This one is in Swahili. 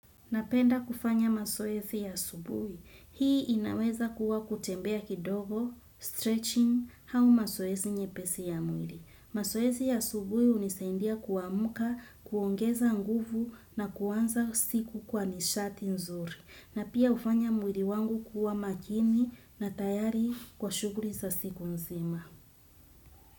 Napenda kufanya masoesi ya asubuhi. Hii inaweza kuwa kutembea kidogo, stretching hau masoesi nyepesi ya mwili. Masoesi ya subuhi unisaindia kuamuka, kuongeza nguvu na kuwanza siku kwa nishati nzuri. Na pia ufanya mwili wangu kuwa makini na tayari kwa shuguri za siku nzima.